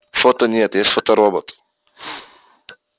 фото нет есть фоторобот